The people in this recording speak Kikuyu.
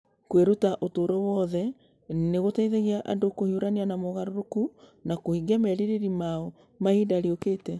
Kwĩruta ũtũũro wothe nĩ gũteithagia andũ kũhiũrania na mogarũrũku na kũhingia merirĩria mao ma ihinda rĩũkĩte.